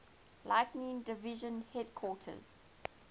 lighting division headquarters